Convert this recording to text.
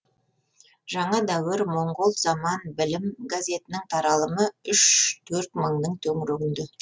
жаңа дәуір моңғол заман білім газетінің таралымы үш төрт мыңның төңірегінде